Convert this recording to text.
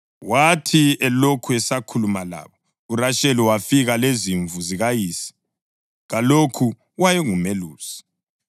Wathi elokhu esakhuluma labo uRasheli wafika lezimvu zikayise, kalokho wayengumelusi.